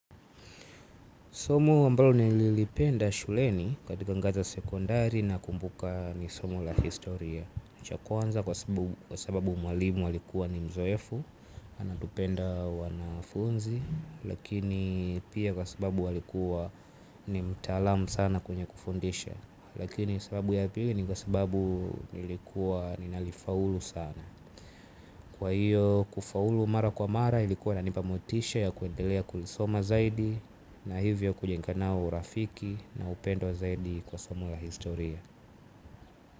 Somo ambalo nililipenda shuleni katika anga za sekondari nakumbuka ni somo la historia. Cha kwanza kwa sababu mwalimu alikuwa ni mzoefu, anatupenda wanafunzi, lakini pia kwa sababu alikuwa ni mtaalamu sana kwenye kufundisha. Lakini sababu ya pili ni kwa sababu nilikuwa ninalifaulu sana. Kwa hiyo kufaulu mara kwa mara ilikuwa inanipa motisha ya kuendelea kulisoma zaidi. Na hivyo kujenga nao urafiki na upendo zaidi kwa somo la historia.